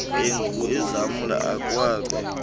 andrew ezamla akwabe